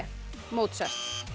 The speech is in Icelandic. Mozart